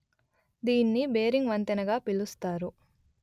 దీన్ని బేరింగ్ వంతెన గా పిలుస్తారు